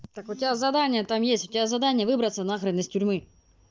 так у тебя задание там есть у тебя задание выбраться на хрен из тюрьмы